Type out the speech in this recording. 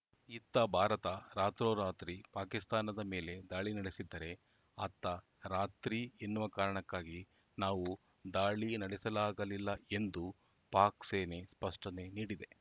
ಇತ್ತ ಭಾರತ ರಾತ್ರೋರಾತ್ರಿ ಪಾಕಿಸ್ತಾನದ ಮೇಲೆ ದಾಳಿ ನಡೆಸಿದ್ದರೆ ಅತ್ತ ರಾತ್ರಿ ಎನ್ನುವ ಕಾರಣಕ್ಕಾಗಿ ನಾವು ದಾಳಿ ನಡೆಸಲಾಗಲಿಲ್ಲ ಎಂದು ಪಾಕ್‌ ಸೇನೆ ಸ್ಪಷ್ಟನೆ ನೀಡಿದೆ